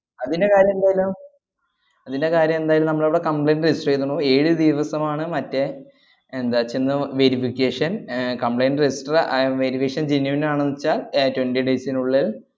അതിന്റെ കാര്യം എന്തായാലും അതിന്റെ കാര്യം എന്തായാലും നമ്മളിവിടെ complaint register എയ്തണു. ഏഴു ദിവസമാണ് മറ്റേ എന്താ ചെന്നു verification ഏർ complaint register ആയാ verification genuine ആണെന്നുവെച്ചാ ഏർ twenty days നുള്ളിൽ